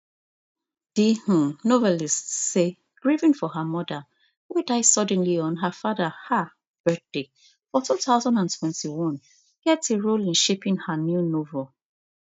di um novelist say grieving for her mother wey die suddenly on her father um birthday for two thousand and twenty-one get a role in shaping her new novel